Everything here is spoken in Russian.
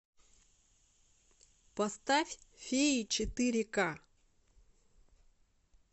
поставь феи четыре ка